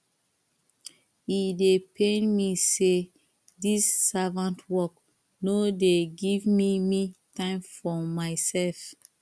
e dey pain me sey dis servant work no dey give me me time for mysef